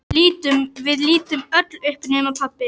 Við lítum öll upp nema pabbi.